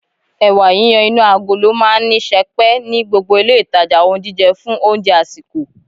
Ẹ̀wà yiyan inú agolo máa ń wà ní sẹpẹ́ ní gbogbo ilé ìtajà ohun jíjẹ fún oúnjẹ àsìkò